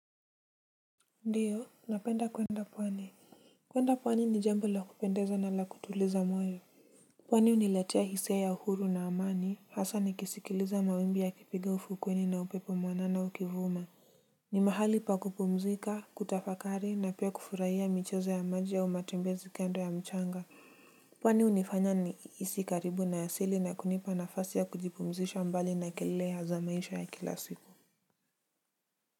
Ndiyo napenda kwenda pwani kwenda pwani ni jambo la kupendeza na la kutuliza moyo pwani huniletea hisia ya uhuru na amani hasa nikisikiliza mawimbi yakipiga ufukuweni na upepo mwanana ukivuma ni mahali pa kupumzika kutafakari na pia kufurahia michezo ya maji au matembezi kando ya mchanga pwani hunifanya nihisi karibu na asili na kunipa nafasi ya kujipumzisha mbali na kelele za maisha ya kila siku.